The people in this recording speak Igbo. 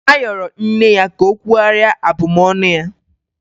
A yọrọ nne ya ka o kwugharịa abụmọnụ ya.